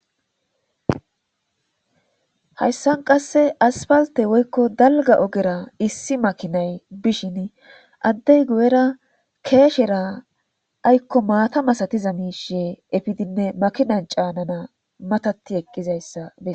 hayssan qasse aspalte woykko dalga ogera issi makinay bishin addey guyera keeshera aykko maata masatiza miishiye efidinne makinan caanana matati eqqizayssa bei